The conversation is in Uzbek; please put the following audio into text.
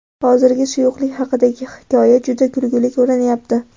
Hozir suyuqlik haqidagi hikoya juda kulgili ko‘rinyapti.